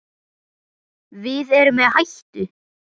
Við erum í hættu!